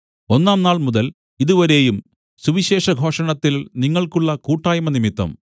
ഒന്നാം നാൾമുതൽ ഇതുവരെയും സുവിശേഷഘോഷണത്തിൽ നിങ്ങൾക്കുള്ള കൂട്ടായ്മ നിമിത്തം